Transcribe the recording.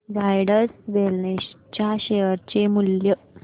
Zydus wellness च्या share चे मूल्य